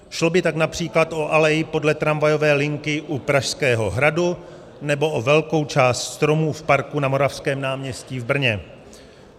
Šlo by tak například o alej podle tramvajové linky u Pražského hradu nebo o velkou část stromů v parku na Moravském náměstí v Brně.